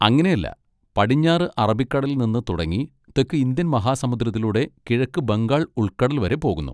അങ്ങനെ അല്ല, പടിഞ്ഞാറ് അറബിക്കടലിൽ നിന്ന് തുടങ്ങി തെക്ക് ഇന്ത്യൻ മഹാസമുദ്രത്തിലൂടെ കിഴക്ക് ബംഗാൾ ഉൾക്കടൽ വരെ പോകുന്നു.